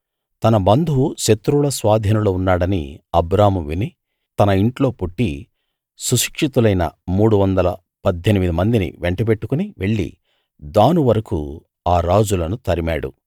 తన బంధువు శత్రువుల స్వాధీనంలో ఉన్నాడని అబ్రాము విని తన ఇంట్లో పుట్టి సుశిక్షితులైన మూడువందల పద్దెనిమిది మందిని వెంటబెట్టుకుని వెళ్లి దాను వరకూ ఆ రాజులను తరిమాడు